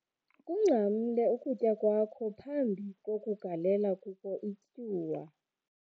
kungcamle ukutya kwakho phambi kokugalela kuko ityuwa